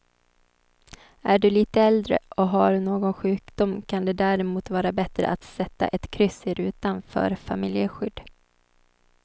Är du lite äldre och har någon sjukdom kan det därmot vara bättre att sätta ett kryss i rutan för familjeskydd.